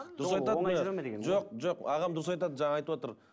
дұрыс айтады жоқ жоқ ағам дұрыс айтады жана айтыватыр